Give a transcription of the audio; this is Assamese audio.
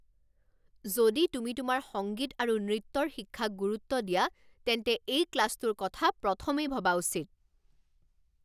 যদি তুমি তোমাৰ সংগীত আৰু নৃত্যৰ শিক্ষাক গুৰুত্ব দিয়া তেন্তে এই ক্লাছটোৰ কথা প্ৰথমেই ভবা উচিত।